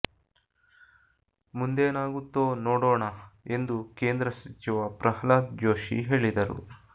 ಮುಂದೇನಾಗುತ್ತೋ ನೋಡೋಣ ಎಂದು ಕೇಂದ್ರ ಸಚಿವ ಪ್ರಹ್ಲಾದ್ ಜೋಶಿ ಹೇಳಿದರು